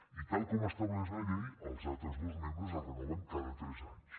i tal com estableix la llei els altres dos membres es renoven cada tres anys